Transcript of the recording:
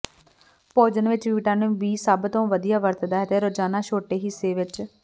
ਭੋਜਨ ਵਿਚ vitamin B ਸਭ ਤੋਂ ਵਧੀਆ ਵਰਤਦਾ ਹੈ ਰੋਜ਼ਾਨਾ ਛੋਟੇ ਹਿੱਸੇ ਵਿਚ